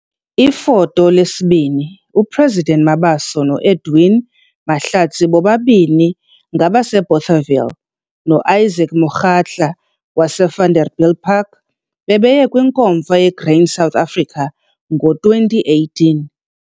Ifoto 2- UPresident Mabaso noEdwin Mahlatsi bobabini ngabaseBothaville noIsaac Mokgatla waseVanderbiljpark, bebeye kwiNkomfa yeGrain SA ngo-2018.